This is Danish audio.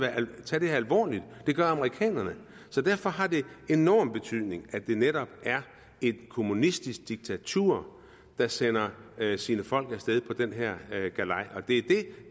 tage det her alvorligt og det gør amerikanerne så derfor har det enorm betydning at det netop er et kommunistisk diktatur der sender sine folk af sted på den her galej og det er det